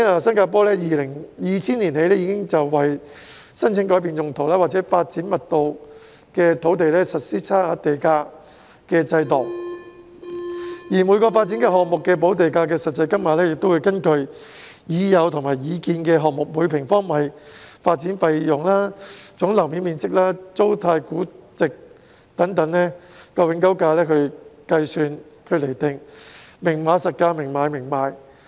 新加坡在2000年起已為申請改變用途或發展密度的土地，實施差額地價的制度，而每個發展項目的補地價實際金額，會根據已有和擬建項目的每平方米發展費用、總樓面面積、租賃價值佔永久價值的比率等來計算和釐定，"明碼實價，明買明賣"。